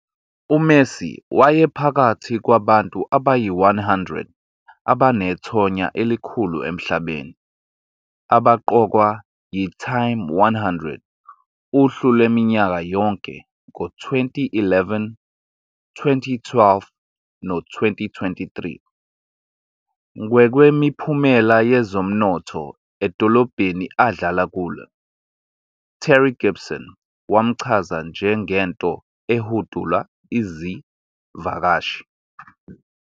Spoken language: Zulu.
UMessi wayephakathi kwabantu abayi-100 abanethonya elikhulu emhlabeni abaqokwa yi-"Time" 100, uhlu lwaminyaka yonke, ngo-2011, 2012 no-2023. Ngokwemiphumela yezomnotho edolobheni adlala kulo, Terry Gibson wamchaza njengento ehudula izivakashi.